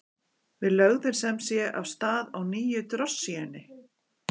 Við lögðum sem sé af stað á nýju drossíunni.